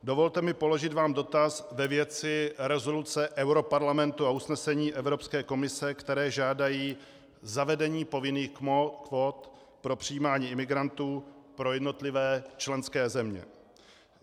Dovolte mi položit vám dotaz ve věci rezoluce europarlamentu a usnesení Evropské komise, které žádají zavedení povinných kvót pro přijímání imigrantů pro jednotlivé členské země.